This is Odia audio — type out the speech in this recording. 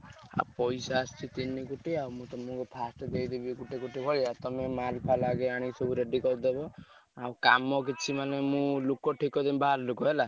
ପଇସା ଆସିଛି ତିନି କୋଟି ଆଉ ମୁଁ ତମକୁ first ଦେଇଦେବି ଗୋଟେ କୋଟି ଭଳିଆ ତମେ ମାଲ୍ ଫାଲ୍ ଆଗେ ଆଣିକି ସବୁ ready କରିଦବ ଆଉ କାମ କିଛି ମାନେ ମୁଁ ଲୋକ ଠିକ୍ କରିଦେବି ବାହାର ଲୋକ ହେଲା।